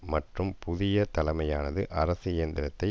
மற்றும் புதிய தலைமையானது அரசு இயந்திரத்தை